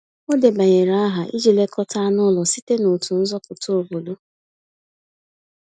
Ọ debanyere aha iji lekọta anụ ụlọ site n’otu nzọpụta obodo.